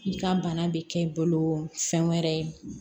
I ka bana bɛ kɛ i bolo fɛn wɛrɛ ye